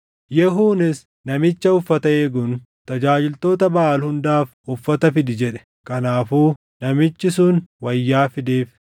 Yehuunis namicha uffata eeguun, “Tajaajiltoota Baʼaal hundaaf uffata fidi” jedhe. Kanaafuu namichi sun wayyaa fideef.